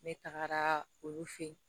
Ne tagara olu fɛ yen